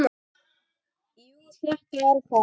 Jú, þetta er það.